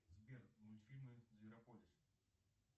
сбер мультфильмы зверополис